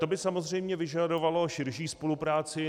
To by samozřejmě vyžadovalo širší spolupráci.